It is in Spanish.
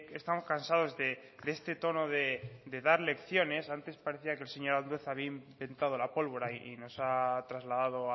estamos cansados de este tono de dar lecciones antes parecía que el señor andueza había inventado la pólvora y nos ha trasladado